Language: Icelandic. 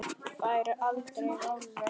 Færi aldrei alveg.